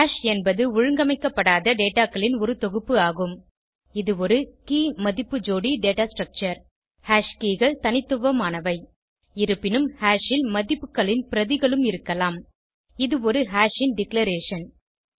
hash என்பது ஒழுங்கமைக்கப்படாத dataகளின் ஒரு தொகுப்பு ஆகும் இது ஒரு keyமதிப்பு ஜோடி டேட்டா ஸ்ட்ரக்சர் ஹாஷ் keyகள் தனித்துவமானவை இருப்பினும் ஹாஷ் ல் மதிப்புகளின் பிரதிகளும் இருக்கலாம் இது ஒரு ஹாஷ் ன் டிக்ளரேஷன்